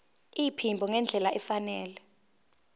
iphimbo ngendlela efanele